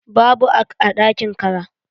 Babu ac a ɗakin kara.